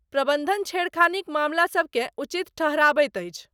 प्रबन्धन छेड़खानीक मामला सभकेँ उचित ठहराबैत अछि।